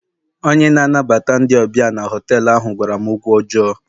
onye na-anabata ndị ọbịa na họtelu ahụ gwara m okwu ọjọọ